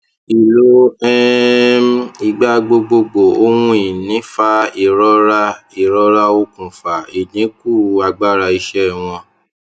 ìlò um igbagbogbo ohunìní fa irọra irọra okùnfà ìdínkù agbára iṣẹ wọn